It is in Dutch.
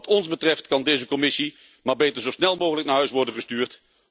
Wat ons betreft kan deze Commissie maar beter zo snel mogelijk naar huis worden gestuurd.